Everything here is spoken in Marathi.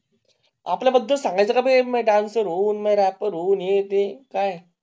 आपला बदल सांगायचे नाही मे दंचर्स रॅपर हू हे ते